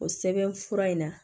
O sɛbɛn fura in na